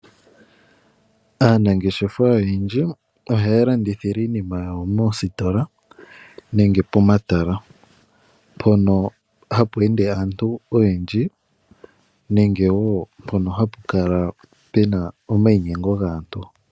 Aanangeshefa oyendji ohaya landithile iinima yawo moositola nenge pomatala mpono hapu ende aantu oyendji nenge woo mpono hapu kala puna omayinyengo gaantu.